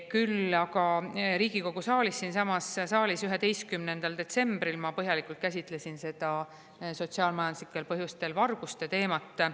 Küll aga ma käsitlesin põhjalikult siinsamas Riigikogu saalis 11. detsembril seda sotsiaal-majanduslikel põhjustel varastamise teemat.